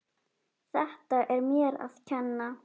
Þetta er mér að kenna.